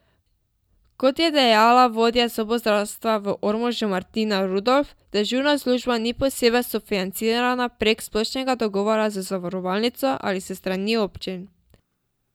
Kot je dejala vodja zobozdravstva v Ormožu Martina Rudolf, dežurna služba ni posebej sofinancirana prek splošnega dogovora z zavarovalnico ali s strani občin.